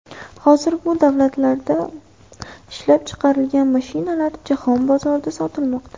Hozir bu davlatlarda ishlab chiqarilgan mashinalar jahon bozorida sotilmoqda.